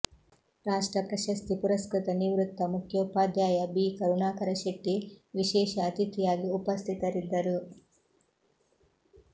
ರಾಷ್ಟ್ರಪ್ರಶಸ್ತಿ ಪುರಸ್ಕೃತ ನಿವೃತ್ತ ಮುಖ್ಯೋಪಾಧ್ಯಾಯ ಬಿ ಕರುಣಾಕರ ಶೆಟ್ಟಿ ವಿಶೇಷ ಅತಿಥಿಯಾಗಿ ಉಪಸ್ಥಿತರಿದ್ದರು